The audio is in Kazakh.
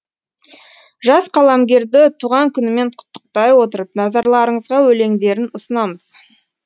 жас қаламгерді туған күнімен құттықтай отырып назарларыңызға өлеңдерін ұсынамыз